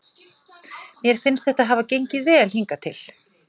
Mér finnst þetta hafa gengið vel hingað til.